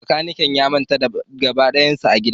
Makanikin ya manta gaba dayansa a gida